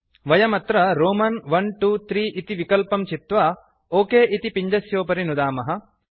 वयं अत्र रोमन् iiiइइ इति विकल्पं चित्वा ओक इति पिञ्जस्योपरि नुदामः